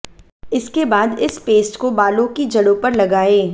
इसके बाद इस पेस्ट को बालों की जड़ो पर लगाएं